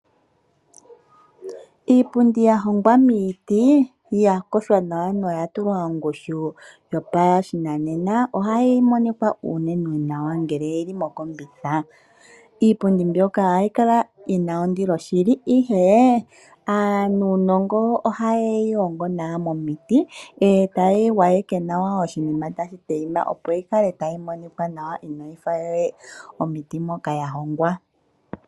Iipundi ya hongwa miiti noya payindwa nawa yi li pashinanena ohayi monika unene nawa ngele oyi li mokombitha. Iipundi mbyoka ohayi kala yi na ondilo shili, ihe aanongo ohaye yi hongo nawa momiti e taye yi gwayeke nawa oshinima tashi tayima, opo yi kale tayi monika nawa inayi fa we omiti moka ya hongwa.